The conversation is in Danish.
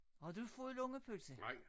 Har du fået lungepølse?